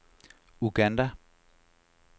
Uganda